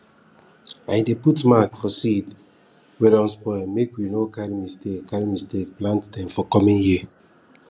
i dey put mark for seeds wey don spoil make we no carry mistake carry mistake plant dem for coming year